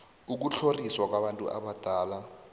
ukutlhoriswa kwabantu abadala